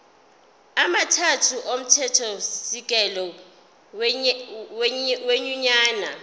amathathu omthethosisekelo wenyunyane